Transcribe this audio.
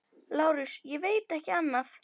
LÁRUS: Ég veit ekki annað.